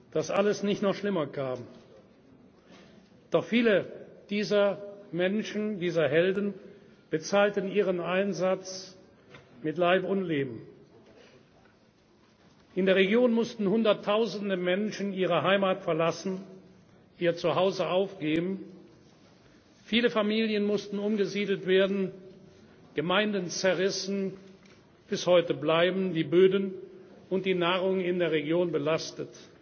verdanken, dass alles nicht noch schlimmer kam. Doch viele dieser Menschen dieser Helden bezahlten ihren Einsatz mit Leib und Leben. In der Region mussten Hunderttausende Menschen ihre Heimat verlassen, ihr Zuhause aufgeben. Viele Familien mussten umgesiedelt werden, Gemeinden wurden zerrissen. Bis heute bleiben die Böden und die Nahrung in der Region